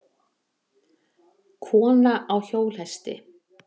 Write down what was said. Kona á hjólhesti?